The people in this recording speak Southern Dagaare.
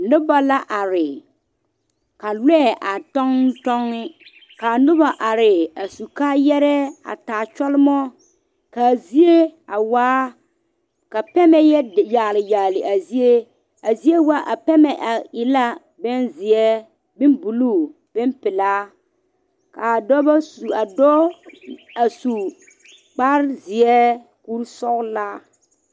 Noba la are ka lɔɛ a toŋtoŋ, kaa noba are a su kaayɛre a taa kyolmɔ ka pɛmɛ yɔ yagele yagele a zie, a pɛmɛ e la zeɛ bonbuluu, bonpelaa kaa Dɔɔ su kpare zeɛ kur sɔglaa